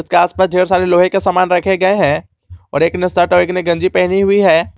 उसके आस पास ढेर सारे लोहे का सामान रखें गए हैं और एक ने शर्ट और एक ने गंजी पहनी हुई है।